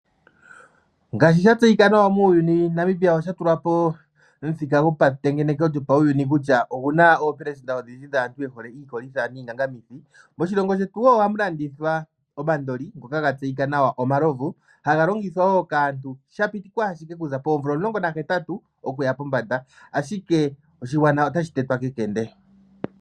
Ngaashi shatseyika nawa muuyuni, Nambia okwatula po omuthika gopatengeneko kutya oguna oopelesenda odhindji dhaantu yehole iikolitha niingangamithi. Moshilongo shetu wo ohamu landithwa omandoli ngoka gatseyika nawa omalovu. Ohaga longithwa wo kaantu shapitikwa ashike okuza poomvula 18 okuya pombanda. Ashike oshigwana otashi tetwa kekende.